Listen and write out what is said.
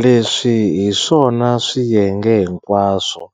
Leswi hi swona swiyenge hinkwaswo